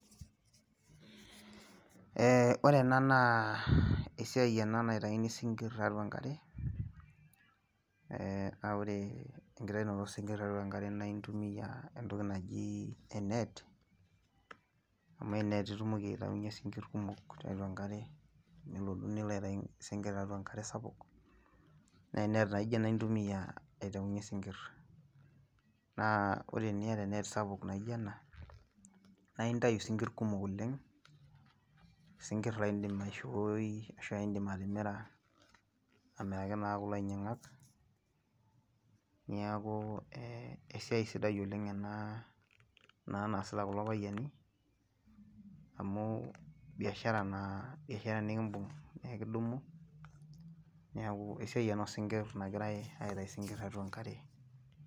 Ee ore ena naa esiai ena naitayuni sinkie atua enkare. naa ore enkitaunoto isinkir tiatua enkare naa intumia e net amu e net itumoki aitayunye sinkie kumok, tiatua enkare nilotu Nilo aitayu sinkie tiatua enkare sapuk, naa e net naijo e a intumia aitayunye sinkir naa ore teniata e net sapuk naijo ena naa intayu sinkr oleng, sinkir laa idim aishooi ashu idim atimira, aamiraki naa kulo ainyingak, niaku ee, esiai sidai oleng ena naa naasita kulo payiani amu, biashara naa nikibung, ekidumu neeku esiai ena oosinkir nagirae aitayu sinkir tiatua enkare.